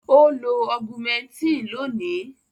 Ó lo Augumentin lónìí.